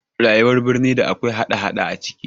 Rayuwar birni da akwai hada hada a ciki